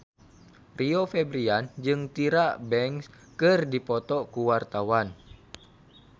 Rio Febrian jeung Tyra Banks keur dipoto ku wartawan